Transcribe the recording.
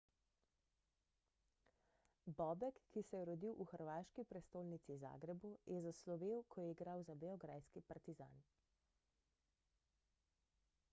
bobek ki se je rodil v hrvaški prestolnici zagrebu je zaslovel ko je igral za beograjski partizan